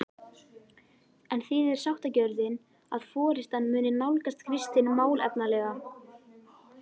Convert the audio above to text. En þýðir sáttagjörðin að forystan muni nálgast Kristin málefnalega?